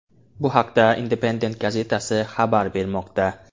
Bu haqda Independent gazetasi xabar bermoqda.